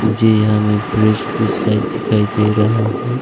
मुझे यहां में ब्रिज की साइड दिखाई दे रहा है।